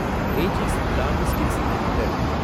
age is Logistics limited